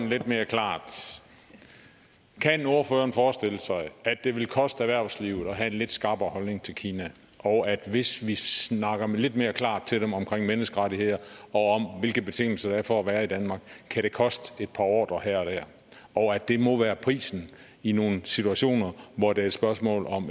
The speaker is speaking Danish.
lidt mere klart kan ordføreren forestille sig at det ville koste erhvervslivet at have en lidt skarpere holdning til kina og at det hvis vi snakker lidt mere klart til dem om menneskerettigheder og om hvilke betingelser der er for at være i danmark kan koste et par ordrer her og der og at det må være prisen i nogle situationer hvor det er et spørgsmål om